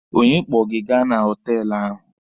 Onye kpọ gị gaa na họtelụ ahụ?